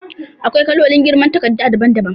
AkwaiKalolin girma katarda daban daban